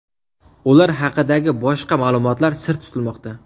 Ular haqidagi boshqa ma’lumotlar sir tutilmoqda.